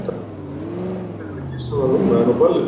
Það er enn betra að kyssa hana núna en á ballinu.